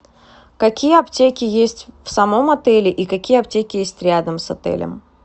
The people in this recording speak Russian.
какие аптеки есть в самом отеле и какие аптеки есть рядом с отелем